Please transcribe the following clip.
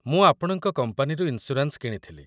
ମୁଁ ଆପଣଙ୍କ କମ୍ପାନୀରୁ ଇନ୍‌ସ୍ୟୁରାନ୍ସ୍‌ କିଣିଥିଲି ।